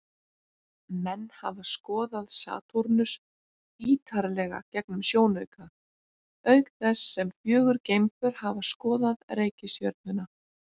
Menn hafa skoðað Satúrnus ýtarlega gegnum sjónauka, auk þess sem fjögur geimför hafa skoðað reikistjörnuna.